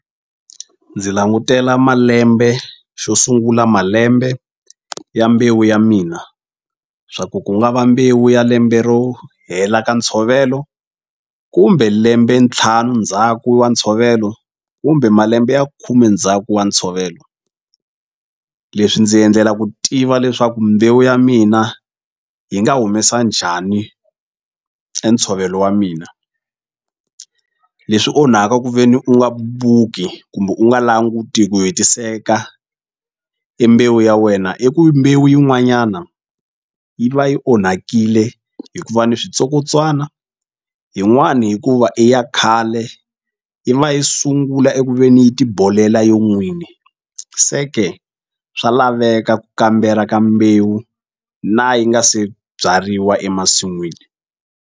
Ndzi langutela malembe xo sungula malembe ya mbewu ya mina swa ku ku nga va mbewu ya lembe ro hela ka ntshovelo kumbe lembe ntlhanu ndzhaku wa ntshovelo kumbe malembe ya khume ndzhaku wa ntshovelo leswi ndzi endlela ku tiva leswaku mbewu ya mina yi nga humesa njhani e ntshovelo wa mina leswi onhaka kuveni u nga buki kumbe u nga languti hi ku hetiseka e mbewu ya wena i ku mbewu yin'wanyana yi va yi onhakile hikuva ni switsokotswana yin'wani hikuva i ya khale yi va yi sungula eku ve ni yi ti bolela yo n'wini se ke swa laveka ku kambela ka mbewu na yi nga se byariwa emasin'wini.